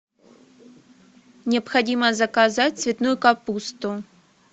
необходимо заказать цветную капусту